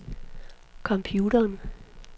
computeren